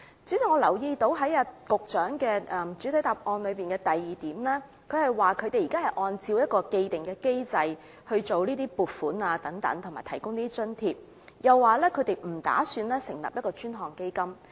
主席，我留意到局長在主體答覆第二部分指出，當局現時已按照一套既定機制處理撥款及提供津貼，又指當局目前不打算成立專項基金。